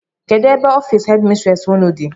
Kedụ ebe ọffici headi mistresi ụnụ dị?